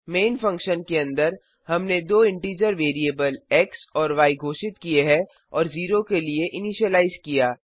man function के अंदर हमने दो इंटीजर वेरिएबल एक्स और य घोषित किये और और 0 के लिए इनिशियलाइज किया